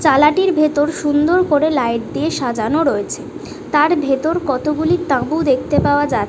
চালাটির ভিতর সুন্দর করে লাইট দিয়ে সাজানো রয়েছে তার ভিতর কত গুলি তাবু দেখতে পাওয়া যা --